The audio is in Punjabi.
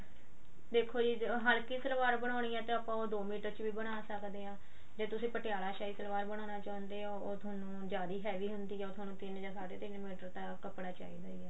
ਦੇਖੋ ਜੀ ਹਲਕੀ ਸਲਵਾਰ ਬਣਾਉਣੀ ਆ ਤਾਂ ਆਪਾਂ ਉਹ ਦ ਮੀਟਰ ਚ ਵੀ ਬਣਾ ਸਕਦੇ ਹਾਂ ਜੇ ਤੁਸੀਂ ਪਟਿਆਲਾ ਸ਼ਾਹੀ ਸਲਵਾਰ ਬਨਾਣਾ ਚਾਹੁੰਦੇ ਹੋ ਉਹ ਤੁਹਾਨੂੰ ਜਿਆਦਾ heavy ਹੁੰਦੀ ਆ ਉਹ ਤੁਹਾਨੂੰ ਤਿੰਨ ਜਾਂ ਸਾਡੇ ਤਿੰਨ ਮੀਟਰ ਤਾਂ ਕੱਪੜਾ ਚਾਹਿਦਾ ਹੀ ਆ